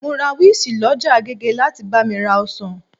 Mo rá wizzy lọ ọjà agége láti bá mi ra ọsàn